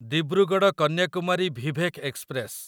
Dibrugarh Kanyakumari Vivek express